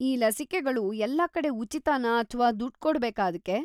ಈ ಲಸಿಕೆಗಳು ಎಲ್ಲಾ ಕಡೆ ಉಚಿತನಾ ಅಥ್ವಾ ದುಡ್‌ ಕೊಡ್ಬೇಕಾ ಅದ್ಕೆ?